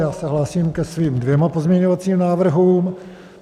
Já se hlásím ke svým dvěma pozměňovacím návrhům.